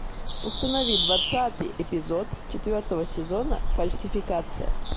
установи двадцатый эпизод четвертого сезона фальсификация